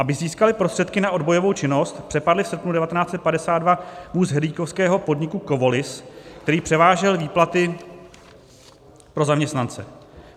Aby získali prostředky na odbojovou činnost, přepadli v srpnu 1952 vůz herlíkovského podniku Kovolis, který převážel výplaty pro zaměstnance.